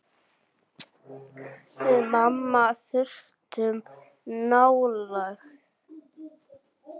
Við mamma þurftum nálægð.